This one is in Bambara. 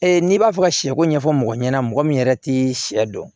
n'i b'a fɛ ka sɛko ɲɛfɔ mɔgɔ ɲɛna mɔgɔ min yɛrɛ tɛ sɛ dɔn